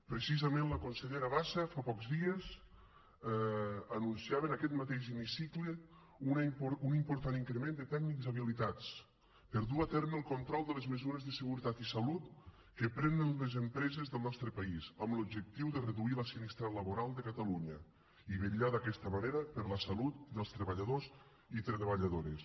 precisament la consellera bassa fa pocs dies anunciava en aquest mateix hemicicle un important increment de tècnics habilitats per dur a terme el control de les mesures de seguretat i salut que prenen les empreses del nostre país amb l’objectiu de reduir la sinistralitat laboral de catalunya i vetllar d’aquesta manera per la salut dels treballadors i treballadores